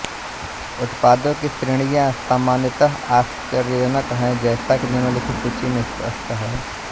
उत्पादों की श्रेणियाँ सामान्यत आश्चर्यजनक है जैसा कि निम्नलिखित सूची से स्पष्ट है